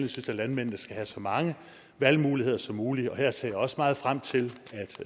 landmændene skal have så mange valgmuligheder som muligt og her ser jeg også meget frem til